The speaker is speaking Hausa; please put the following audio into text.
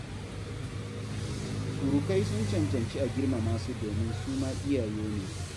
Surukai sun cancanci a girmama su domin su ma iyaye ne